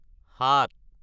সাত